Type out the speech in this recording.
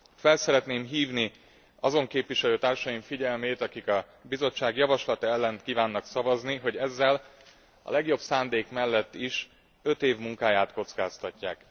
Fel szeretném hívni azon képviselőtársaim figyelmét, akik a Bizottság javaslata ellen kívánnak szavazni, hogy ezzel a legjobb szándék mellett is öt év munkáját kockáztatják.